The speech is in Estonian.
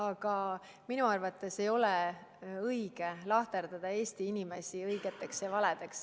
Aga minu arvates ei ole õige lahterdada Eesti inimesi õigeteks ja valedeks.